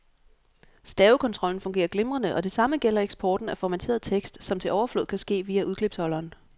Stavekontrollen fungerer glimrende, og det samme gælder eksporten af formateret tekst, som til overflod kan ske via udklipsholderen.